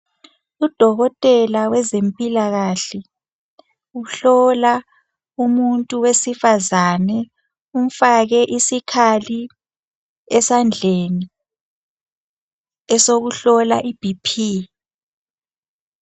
Udokotela wezempilakahle uhlola umuntu wesifazane umfake isikhali esandleni esokuhlola iBP.